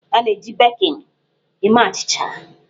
A na-eji bekin eme achịcha.